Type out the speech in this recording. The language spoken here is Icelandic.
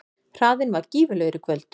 Hraðinn var gífurlegur í kvöld